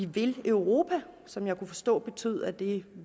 vil europa som jeg kunne forstå betød at de